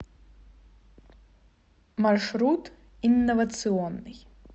маршрут инновационный